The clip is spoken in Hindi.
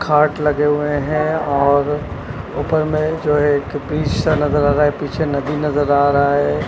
खाट लगे हुए हैं और ऊपर में जो एक वृक्ष सा नजर आ रहा है पीछे नदी नजर आ रहा है।